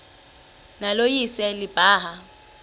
nalo lise libaha